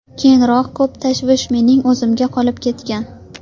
Keyinroq ko‘p tashvish mening o‘zimga qolib ketgan.